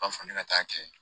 B'a fɔ ne ka taa kɛ